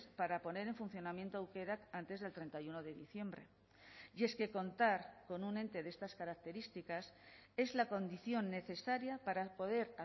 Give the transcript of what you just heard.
para poner en funcionamiento aukerak antes del treinta y uno de diciembre y es que contar con un ente de estas características es la condición necesaria para poder